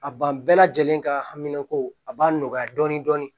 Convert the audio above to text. A ban bɛɛ lajɛlen ka hamina ko a b'a nɔgɔya dɔɔnin dɔɔnin